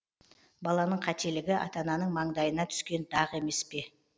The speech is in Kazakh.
баланың кателігі ата ананың маңдайына түскен дақ емес пе